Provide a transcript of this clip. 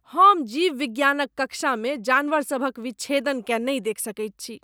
हम जीवविज्ञानक कक्षामे जानवरसभक विच्छेदनकेँ नहि देखि सकैत छी।